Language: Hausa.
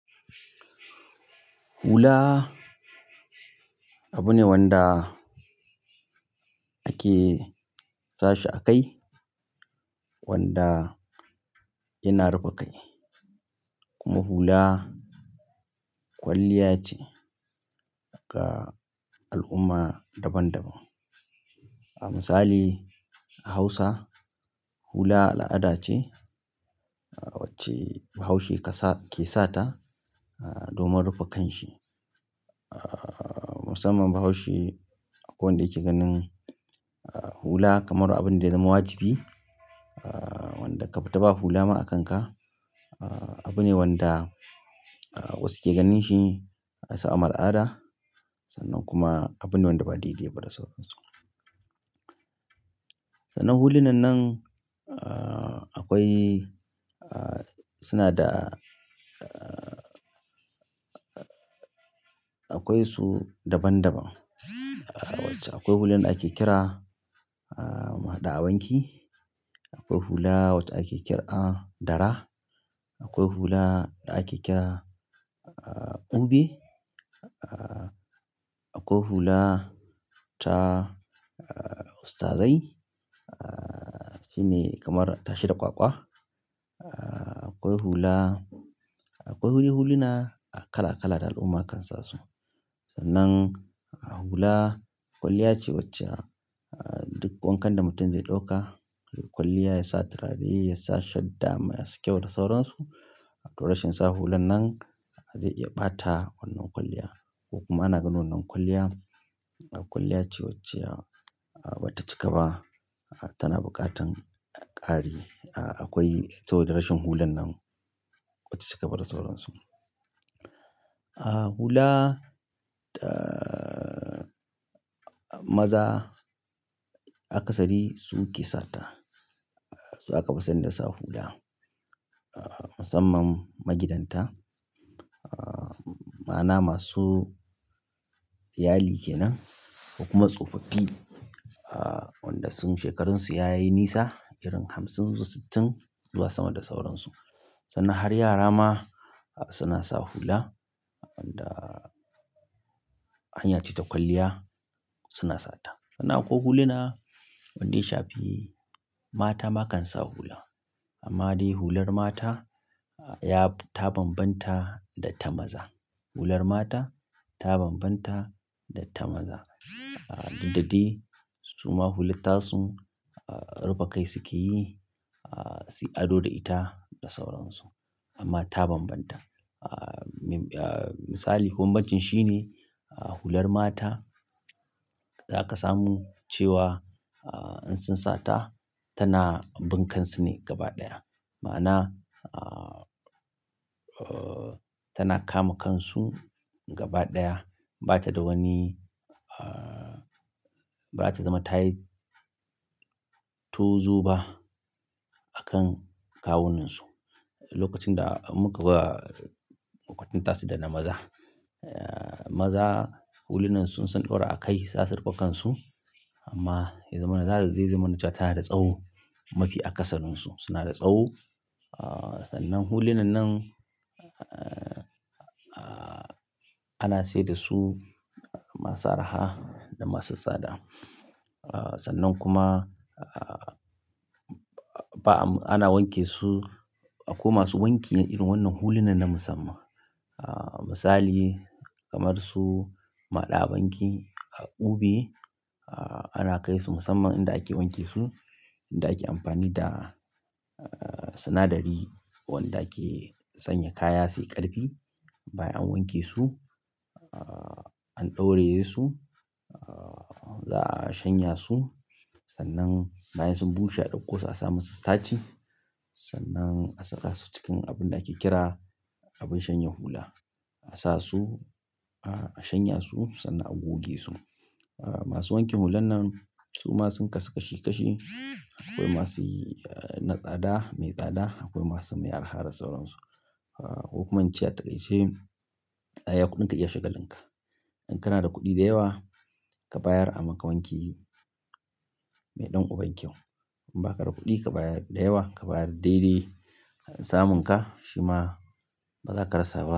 Hula abu ne wanda ake sashi a kai wanda yana rufe kai. Kuma hula kwalliya ce ga al'umma daban-daban. Ah, misali a Hausa, hula al'ada ce wacce bahaushe ke sata domin rufe kanshi. Ah, musamman bahaushe akwai wanda yake ganin hula kamar abin da ya zama wajibi. Ah, randa ka fita ba hula ma a kanka, abu ne wanda wasu ke ganin shi kamar al'ada sannan kuma abu ne wanda ba dai dai ba da sauransu. Sannan hulunan nan, ah, akwai, ah, suna da-- akwai su daban-daban. Akwai hulan da ake kira muhaɗa awanki. Akwai hula wacce ake kira dara. Akwai hula da ake kira ube. Akwai hula ta ustazai. Ah, shine kamar tashe da kwakwa. Akwai hula-- akwai huli-hulina kala-kala da al'umma kan sa su. Sannan hula kwalliya ce wacce duk wankan da mutum zai ɗauka, kwalliya ya sa turare, ya sa shadda mai haske da sauransu. To rashin sa hulan nan zai iya ɓata wannan kwalliya. Kuma ana ganin wannan kwalliya kwalliya ce wacce ba ta cika ba. Tana buƙatan ƙari. Akwai saboda rashin hulan nan ba ta cika ba da sauransu. Ah, hula ta maza a kasari su ke sa ta. Su aka fi san da sa hula. Ah, musamman magidanta. Ma'ana masu iyali ke nan kuma tsofaffi wanda shekarunsu ya yi nisa irin hamsin su sittin zuwa sama da sauransu. Sannan har yara ma suna sa hula wanda hanya ce ta kwalliya suna sata. Sannan akwai huluna wanda ya shafi mata ma kan sa hula. Amma dai hular mata ya ta bambanta da ta maza. Hular mata ta bambanta da ta maza. Duk dadai su ma hular tasu rufe kai su ke yi. Ah, su yi ado da ita da sauransu. Amma ta bambanta. Ah, misali, bambancin shine hular mata za ka samu cewa in sun sata tana bin kansu ne gaba ɗaya. Ma'ana, ah, tana kama kansu gaba ɗaya. Ba ta da wani-- bara ta zama ta yi tuzu ba a kan kawunansu. Lokacin da muka kwatanta tasu da na maza. Maza hulunan su in sun ɗaura a kai za su rufe kansu. Amma ya zamana za su, zai zama na cewa ta na da tsawo mafi a ƙasaninsu. Suna da tsawo. Ah, sannan hulu nan nan, ah, ana sayar da su masu arha da masu tsada. Ah, sannan kuma, ah, ba am-- ana wanke su. Akwai masu wanki irin wannan hulunan na musamman. Misali kamar su lala banki ha du be. Ah, ana kai su musamman inda ake wanke su. Inda ake amfani da sinadari wanda ke sanya kaya su yi ƙarfi. Bayan an wanke su, an ɗauraye su, za a shanya su. Sannan bayan sun bushe a ɗauko su a sa musu starch. Sannan a saka su cikin abin da ake kira abin shanye hula. A sasu a shanya su, sannan a goge su. Masu wanke hulan nan su ma sun kasu kashi kashi. Akwai masu na tsada mai tsada. Akwai masu mai arha da sauransu. A hukuman ce a ta ƙai ce, "iya kuɗinka iya shaga linka." in kana da kuɗi dewa, ka dawar a maka wanki mai ɗan uban kyau. In ba haka da kuɗi ka bayar da yawa, ka bayar daidai an samun ka shi ma ba za ka rasa wani.